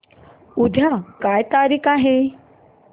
उद्या काय तारीख आहे